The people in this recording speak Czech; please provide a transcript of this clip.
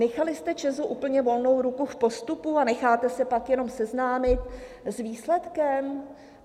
Nechali jste ČEZ úplně volnou ruku v postupu a necháte se pak jenom seznámit s výsledkem?